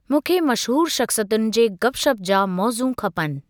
मूंखे मशहूरु शख़्सियतुनि जे गप शप जा मौज़ू खपनि।